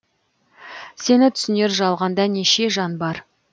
сені түсінер жалғанда неше жан бар